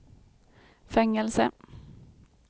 fängelse